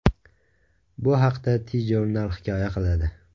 Bu haqda TJournal hikoya qiladi .